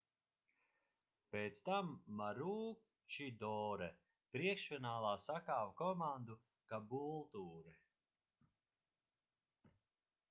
pēc tam maroochydore priekšfinālā sakāva komandu caboolture